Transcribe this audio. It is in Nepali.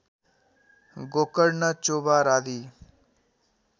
गोकर्ण चोभार आदि